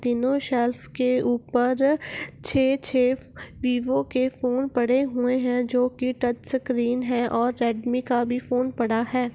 तीनो शेल्फ के ऊपर छे छे वीवो के फ़ोन पडे हुए हैं जो की टच स्क्रीन है और रेडमी का भी फ़ोन पड़ा है |